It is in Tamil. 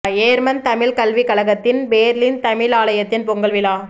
யேர்மன் தமிழ்க் கல்விக் கழகத்தின் பேர்லின் தமிழாலயத்தின் பொங்கல் விழா